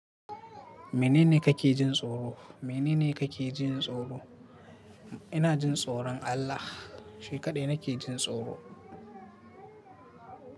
Mene ne kake jin tsoro? Mene ne kake jin tsoro? Ina jin tsoron Allah. Shi kaɗai nake jin tsoro.